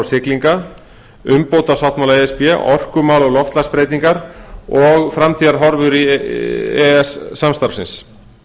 siglinga umbótasáttmála e s b orkumál og loftslagsbreytingar og framtíðarhorfur e e s samstarfsins